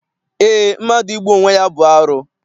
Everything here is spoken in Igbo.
Eé, mmadụ igbu onwe ya bụ arụ.